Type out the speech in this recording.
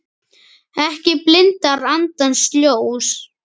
Ekki blindar andans ljós